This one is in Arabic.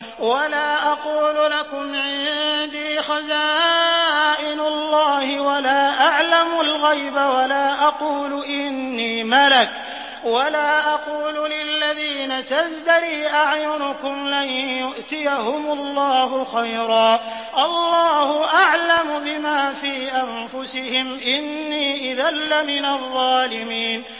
وَلَا أَقُولُ لَكُمْ عِندِي خَزَائِنُ اللَّهِ وَلَا أَعْلَمُ الْغَيْبَ وَلَا أَقُولُ إِنِّي مَلَكٌ وَلَا أَقُولُ لِلَّذِينَ تَزْدَرِي أَعْيُنُكُمْ لَن يُؤْتِيَهُمُ اللَّهُ خَيْرًا ۖ اللَّهُ أَعْلَمُ بِمَا فِي أَنفُسِهِمْ ۖ إِنِّي إِذًا لَّمِنَ الظَّالِمِينَ